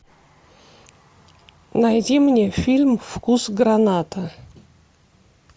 найди мне фильм вкус граната